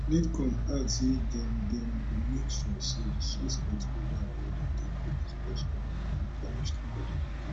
nidcom add say dem dem go make sure say di suspect wey don already dey police custody dey punished accordingly